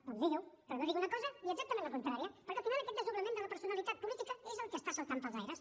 doncs digui ho però no digui una cosa i exactament la contrària perquè al final aquest desdoblament de la personalitat política és el que està saltant pels aires